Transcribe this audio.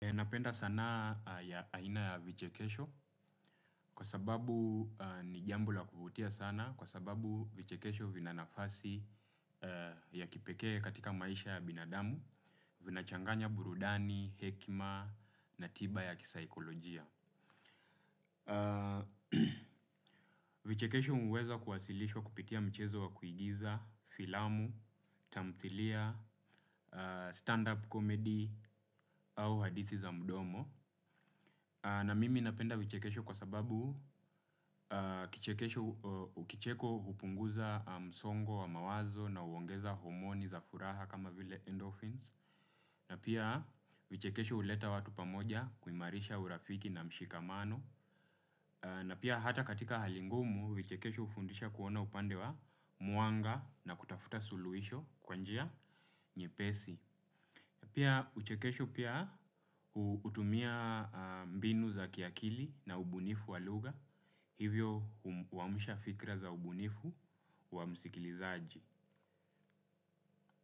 Ninapenda saana ya aina ya vichekesho kwa sababu ni jambo la kuvutia sana kwa sababu vichekesho vina nafasi ya kipeke katika maisha ya binadamu, vina changanya burudani, hekima na tiba ya kisaikolojia. Vichekesho huweza kuwakilishwa kupitia mchezo wa kuigiza, filamu, tamthilia, stand-up comedy au hadithi za mdomo. Na mimi napenda vichekesho kwa sababu kichekesho kicheko hupunguza msongo wa mawazo na uongeza homoni za furaha kama vile endorphins. Na pia vichekesho huleta watu pamoja kuimarisha urafiki na mshikamano. Na pia hata katika hali ngumu, vichekesho hufundisha kuona upande wa mwanga na kutafuta suluhisho kwanjia nyepesi. Pia vichekesho pia hutumia mbinu za kiakili na ubunifu wa lugha. Hivyo huamusha fikra za ubunifu wa msikilizaji.